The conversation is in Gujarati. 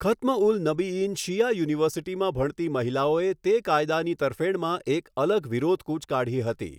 ખતમ્ ઉલ નબીઈન શિયા યુનિવર્સિટીમાં ભણતી મહિલાઓએ તે કાયદાની તરફેણમાં એક અલગ વિરોધ કૂચ કાઢી હતી.